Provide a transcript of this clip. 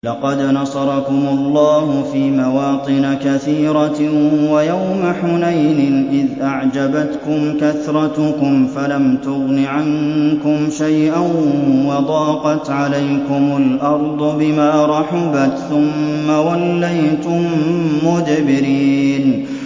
لَقَدْ نَصَرَكُمُ اللَّهُ فِي مَوَاطِنَ كَثِيرَةٍ ۙ وَيَوْمَ حُنَيْنٍ ۙ إِذْ أَعْجَبَتْكُمْ كَثْرَتُكُمْ فَلَمْ تُغْنِ عَنكُمْ شَيْئًا وَضَاقَتْ عَلَيْكُمُ الْأَرْضُ بِمَا رَحُبَتْ ثُمَّ وَلَّيْتُم مُّدْبِرِينَ